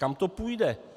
Kam to půjde?